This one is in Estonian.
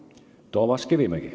Toomas Kivimägi.